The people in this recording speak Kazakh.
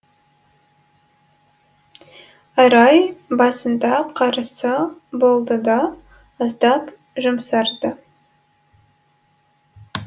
арай басында қарсы болды да аздап жұмсарды